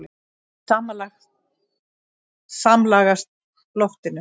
um samlagast loftinu.